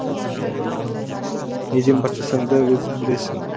неден бастасаң да өзің білесің